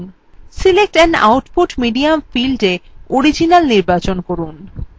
select an output medium fieldএ original নির্বচন করুন